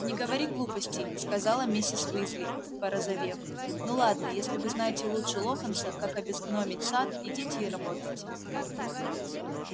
не говори глупостей сказала миссис уизли порозовев ну ладно если вы знаете лучше локонса как обезгномить сад идите и работайте